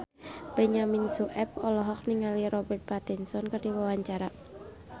Benyamin Sueb olohok ningali Robert Pattinson keur diwawancara